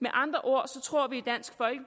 med andre ord tror vi